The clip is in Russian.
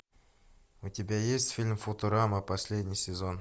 у тебя есть фильм футурама последний сезон